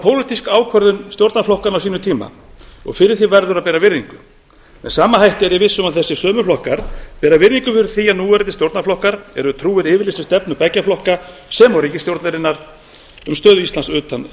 pólitísk ákvörðun stjórnarflokkanna á sínum tíma og fyrir því verður að bera virðingu með sama hætti er ég viss um að þessir sömu flokkar bera virðingu fyrir því að núverandi stjórnarflokkar eru trúir yfirlýstri stefnu beggja flokka sem og ríkisstjórnarinnar um stöðu íslands utan